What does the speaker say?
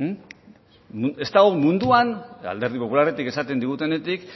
ez dago munduan alderdi popularretik esaten digutenetik